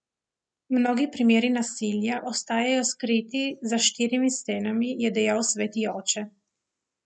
Mnogi primeri nasilja ostajajo skriti za štirimi stenami, je dejal sveti oče.